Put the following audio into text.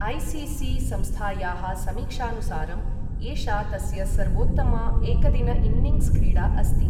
ACC. संस्थायाः समीक्षानुसारम्, एषा तस्य सर्वोत्तमा एकदिन इन्निङ्ग्स् क्री़डा अस्ति।